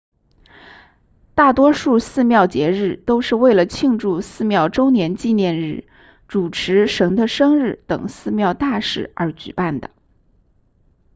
大多数寺庙节日都是为了庆祝寺庙周年纪念日主持神的生日等寺庙大事而举办的